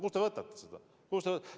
Kust te võtate seda?!